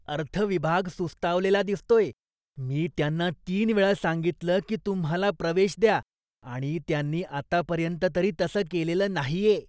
अर्थ विभाग सुस्तावलेला दिसतोय. मी त्यांना तीन वेळा सांगितलं की तुम्हाला प्रवेश द्या आणि त्यांनी आतापर्यंत तरी तसं केलेलं नाहीये.